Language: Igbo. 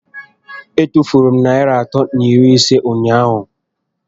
E tufuru m narị atọ na iri ise m ụnyaahụ